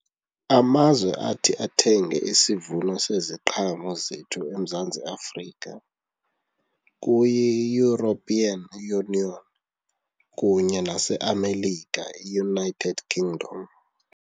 Amazwe athi athenge isivuno seziqhamo zethu eMzantsi Afrika kuyiEuropean Union kunye naseAmerica iUnited Kingdom.